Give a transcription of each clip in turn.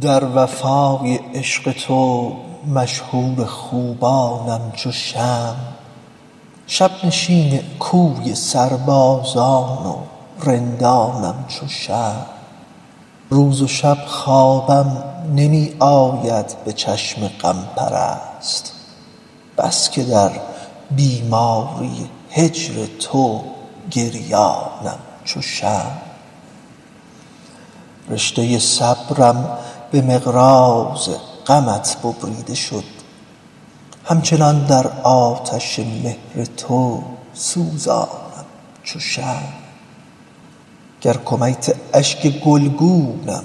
در وفای عشق تو مشهور خوبانم چو شمع شب نشین کوی سربازان و رندانم چو شمع روز و شب خوابم نمی آید به چشم غم پرست بس که در بیماری هجر تو گریانم چو شمع رشته صبرم به مقراض غمت ببریده شد همچنان در آتش مهر تو سوزانم چو شمع گر کمیت اشک گلگونم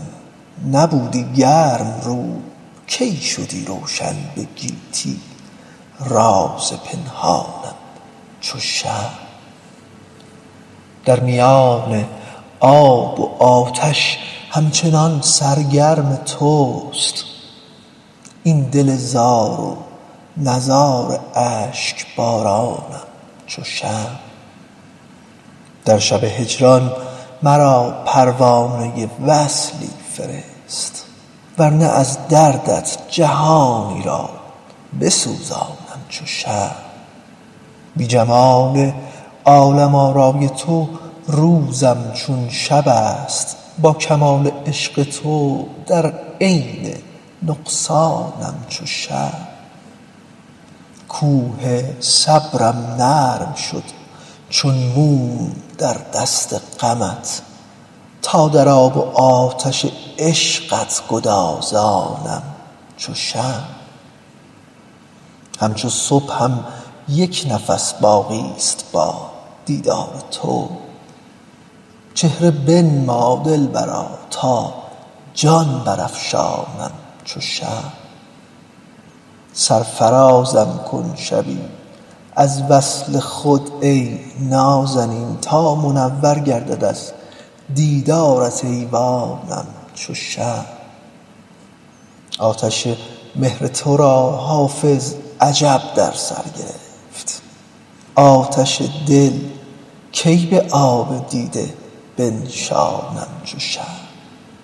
نبودی گرم رو کی شدی روشن به گیتی راز پنهانم چو شمع در میان آب و آتش همچنان سرگرم توست این دل زار نزار اشک بارانم چو شمع در شب هجران مرا پروانه وصلی فرست ور نه از دردت جهانی را بسوزانم چو شمع بی جمال عالم آرای تو روزم چون شب است با کمال عشق تو در عین نقصانم چو شمع کوه صبرم نرم شد چون موم در دست غمت تا در آب و آتش عشقت گدازانم چو شمع همچو صبحم یک نفس باقی ست با دیدار تو چهره بنما دلبرا تا جان برافشانم چو شمع سرفرازم کن شبی از وصل خود ای نازنین تا منور گردد از دیدارت ایوانم چو شمع آتش مهر تو را حافظ عجب در سر گرفت آتش دل کی به آب دیده بنشانم چو شمع